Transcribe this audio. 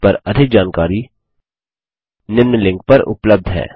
इस पर अधिक जानकारी निम्न लिंक पर उपलब्ध है